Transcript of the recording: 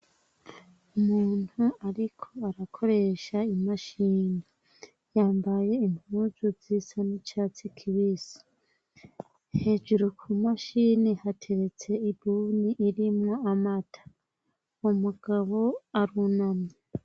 Umuntu ariko arakoresha imashini yambaye impuzu zisa n'icatsi kibisi. Hejuru ku mashini hateretse ibuni irimwo amata. Umugabo arunamye.